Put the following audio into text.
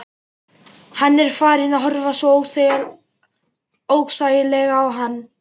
Hann er farinn að horfa svo óþægilega á hana.